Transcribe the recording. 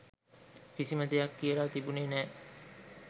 කිසිම දෙයක් කියලා තිබුණෙ නැහැ.